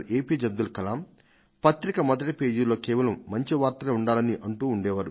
అబ్దుల్ కలామ్ ఎప్పుడు చెప్తుండే వారు దయచేసి వార్తాపత్రిక మొదటి పేజీలో కేవలం మంచి వార్తలే అచ్చు వేయాలి అని